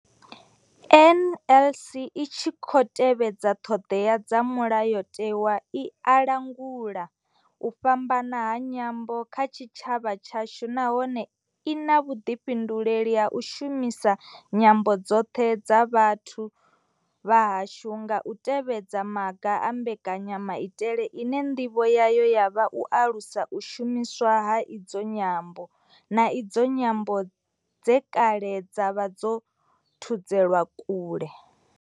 NLS I tshi khou tevhedza ṱhodea dza Mulayotewa, i langula u fhambana ha nyambo kha tshitshavha tshashu nahone I na vhuḓifhinduleli ha u shumisa nyambo dzoṱhe dza vhathu vha hashu nga u tevhedza maga a mbekanyamaitele ine nḓivho yayo ya vha u alusa u shumiswa ha idzi nyambo, na idzo nyambo dze kale dza vha dzo thudzelwa kule.